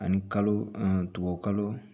Ani kalo tubabukalo